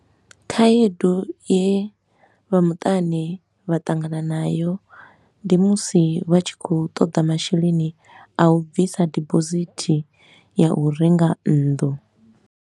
Khaedu ye vha mutani vha ṱangana nayo, ndi musi vha tshi khou ṱoḓa masheleni a u bvisa deposit ya u renga nnḓu.